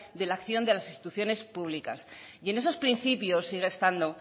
de la acción de las instituciones públicas y en esos principios sigue estando